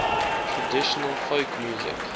traditional folk music